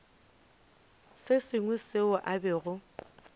se sengwe seo a bego